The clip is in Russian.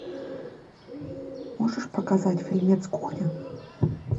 можешь показать фильмец кухня